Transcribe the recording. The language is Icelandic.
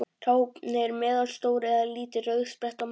Hráefnið er meðalstór eða lítil rauðspretta á mann.